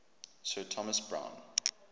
sir thomas browne